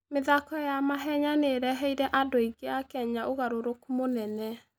mĩthako ya mahenya nĩ ĩreheire andũ aingĩ a Kenya ũgarũrũku mũnene.